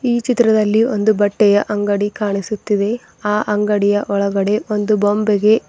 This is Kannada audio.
ಈ ಚಿತ್ರದಲ್ಲಿ ಒಂದು ಬಟ್ಟೆಯ ಅಂಗಡಿ ಕಾಣಿಸುತ್ತಿದೆ ಆ ಅಂಗಡಿ ಒಳಗಡೆ ಒಂದು ಬೊಂಬೆಗೆ--